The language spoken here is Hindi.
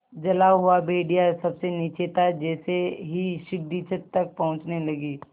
जला हुआ भेड़िया सबसे नीचे था जैसे ही सीढ़ी छत तक पहुँचने लगी